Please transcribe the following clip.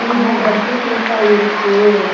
ஆனா ஒரு இடத்துல safe அஹ இருக்கு.